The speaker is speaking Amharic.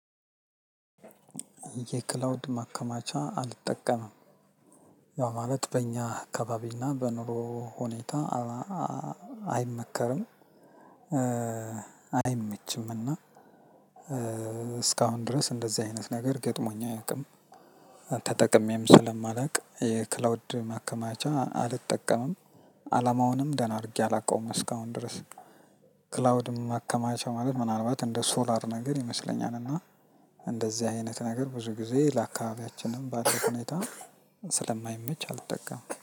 የክላውድ ማከማቻ አልጠቀምም። ያው ማለት በእኛ አካባቢና በኑሮ ሁኔታ አይመከርም። አይመችምና። እስካሁን ድረስ እንደዚህ አይነት ነገር ገጥሞኝ አያውቅም። ተጠቅሜም ስለማላውቅ የክላውድ ማከማቻ አልጠቀምም። አላማውንም ደህና አድርጌ አላውቀውም እስካሁን ድረስ። ክላውድም ማከማቻ ማለት ምናልባት እንደ ሶላር ነገር ይመስለኛል እና እንደዚህ አይነት ነገር ብዙ ጊዜ ለአካባቢያችንም ባለው ሁኔታ ስለማይመች አልጠቀምም